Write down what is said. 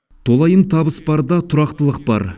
толайым табыс барда тұрақтылық бар